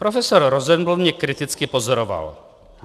Profesor Rosenblum mě kriticky pozoroval.